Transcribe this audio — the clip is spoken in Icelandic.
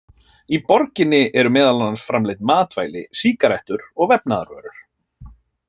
Í borginni eru meðal annars framleidd matvæli, sígarettur og vefnaðarvörur.